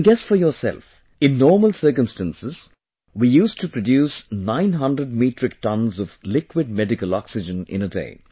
You can guess for yourself, in normal circumstances we used to produce 900 Metric Tonnes of liquid medical oxygen in a day